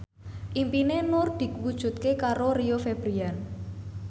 impine Nur diwujudke karo Rio Febrian